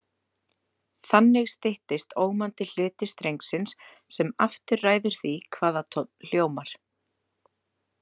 Þannig styttist ómandi hluti strengsins sem aftur ræður því hvaða tónn hljómar.